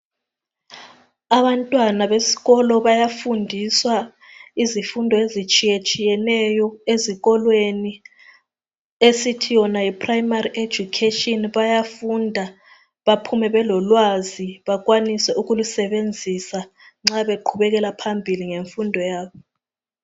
abantwana besikolo bayafundiswa izifundo ezitshiyeneyo ezikolweni esithi yiprimary education bayafunda baphume belolwazi bakwanise ukulusebenzisa babequbekela phambili ngemfundo yabo